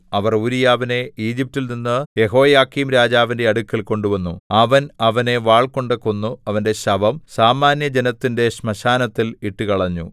അവർ ഊരീയാവിനെ ഈജിപ്റ്റിൽ നിന്ന് യെഹോയാക്കീംരാജാവിന്റെ അടുക്കൽ കൊണ്ടുവന്നു അവൻ അവനെ വാൾകൊണ്ടു കൊന്ന് അവന്റെ ശവം സാമാന്യജനത്തിന്റെ ശ്മശാനത്തിൽ ഇട്ടുകളഞ്ഞു